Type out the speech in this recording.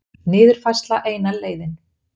Niðurfærsla eina leiðin